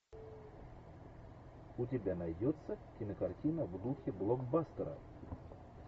у тебя найдется кинокартина в духе блокбастера